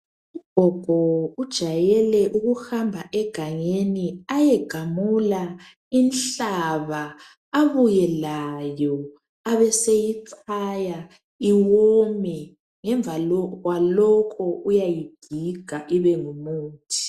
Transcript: Ugogo ujayele ukuhamba egangeni ayegamula inhlaba abuye layo abeseyichaya iwome ngemva kwalokhu uyayigiga ibengumuthi.